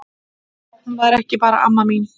Hún var ekki bara amma mín.